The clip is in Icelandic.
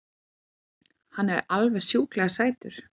Hann er alveg sjúklega sætur!